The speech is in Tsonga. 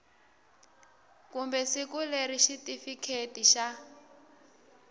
kumbe siku leri xitifiketi xa